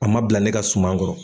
A ma bila ne ka suman kɔrɔ.